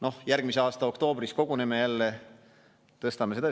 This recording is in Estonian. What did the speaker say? Noh, järgmise aasta oktoobris koguneme jälle, tõstame seda.